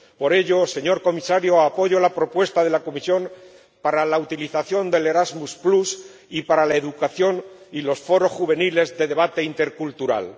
Por ello, señor Comisario, apoyo la propuesta de la Comisión para la utilización de Erasmus, la educación y los foros juveniles de debate intercultural.